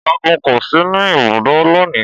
Ọ̀gágun kò sí ní ibùdó lónìí